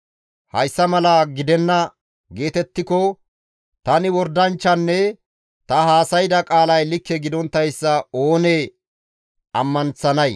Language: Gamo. «Hayssa mala gidenna geetettiko tani wordanchchatanne ta haasayda qaalay likke gidonttayssa oonee ammanththanay?»